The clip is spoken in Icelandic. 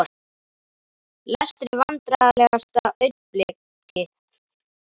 Lestri Vandræðalegasta augnablik?